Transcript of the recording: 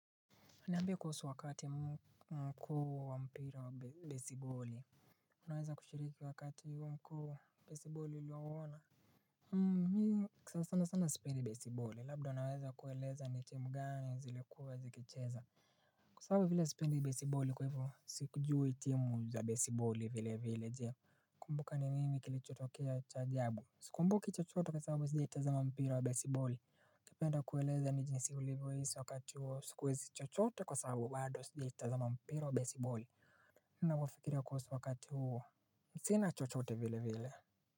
Niambie kuhusu wakati mkuu wa mpira wa besiboli. Unaweza kushiriki wakati huo mkuu besiboli uliouona. Hmm mii sana sana sipendi besiboli labdo unaweza kueleza ni timu gani zilikuwa zikicheza. Kwa sababu vile sipendi besiboli kwa hivo si kujui timu za besiboli vile vile. Unakumbuka ni nini kilichotokea cha ajabu? Sikumbuki chochote kwa sababu sijaitazama mpira wa besiboli. Ungependa kueleza jinsi ulivyohisi wakati huo siwezi chochote kwa sababu sijawaitazama mpira wa besiboli. Na mafikira kuhusu wakati huo sina chochote vile vile.